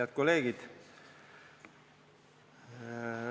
Head kolleegid!